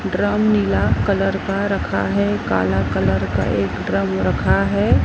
Drum नीला colour का रखा है काला कलर का एक ड्रम रखा है।